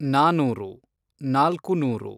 ನಾನೂರು ( ನಾಲ್ಕು ನೂರು)